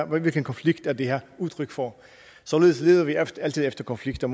hvilken konflikt er det her udtryk for således leder vi altid efter konflikter